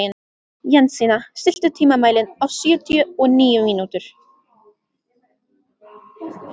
Jensína, stilltu tímamælinn á sjötíu og níu mínútur.